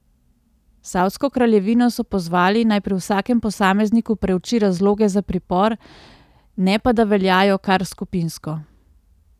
Savdsko kraljevino so pozvali, naj pri vsakem posamezniku preuči razloge za pripor, ne pa da veljajo kar skupinsko.